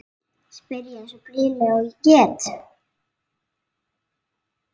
spyr ég eins blíðlega og ég get.